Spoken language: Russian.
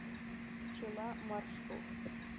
пчела маршрут